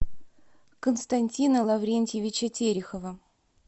константина лаврентьевича терехова